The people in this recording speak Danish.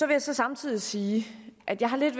vil så samtidig sige at jeg har lidt